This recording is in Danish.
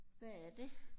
Hvad er det?